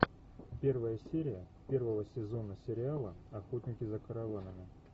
первая серия первого сезона сериала охотники за караванами